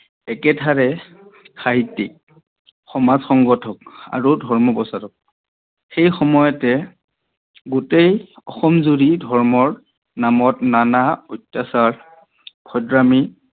একেধাৰে সাহিত্যিক, সমাজ সংগথক আৰু ধৰ্মপ্ৰচলক। সেই সময়তে গোতেই অসম জোৰি ধৰ্মৰ নামত নানা অত্যাচাৰ, অভদ্ৰামি